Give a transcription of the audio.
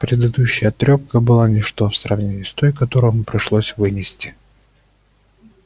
предыдущая трёпка была ничто в сравнении с той которую ему пришлось вынести